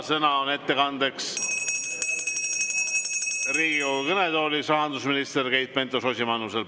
Sõna on ettekandeks Riigikogu kõnetoolis rahandusminister Keit Pentus-Rosimannusel.